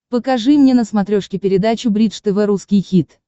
покажи мне на смотрешке передачу бридж тв русский хит